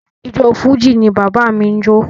Ijó Fújì ni bàbá mi n jo.